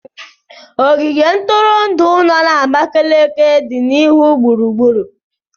Ogige ntụrụndụ no na Abakaliki dị n'ihu gburugburu.